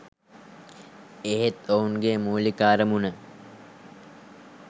එහෙත් ඔවුන්ගේ මුලික අරමුණ